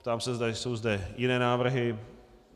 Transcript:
Ptám se, zda jsou zde jiné návrhy.